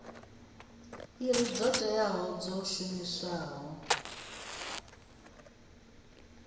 iri dzo teaho dzo shumiwaho